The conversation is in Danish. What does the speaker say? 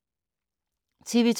TV 2